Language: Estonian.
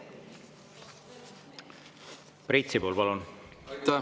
Priit Sibul, palun!